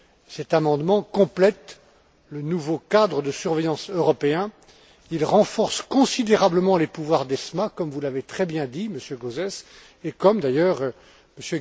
Cet amendement complète le nouveau cadre de surveillance européen, il renforce considérablement les pouvoirs d'ESMA, comme vous l'avez très bien dit, Monsieur Gauzès, et comme d'ailleurs, M.